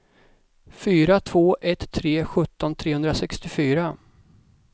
fyra två ett tre sjutton trehundrasextiofyra